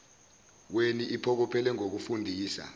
weni iphokophele ngokufundisa